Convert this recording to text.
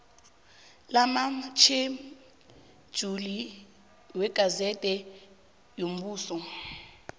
lamatjhejuli wegazede yombuso